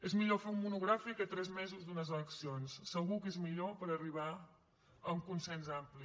és millor fer un monogràfic a tres mesos de les eleccions segur que és millor per arribar a un consens ampli